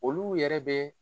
Olu yɛrɛ bɛ